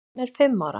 Hann er fimm ára.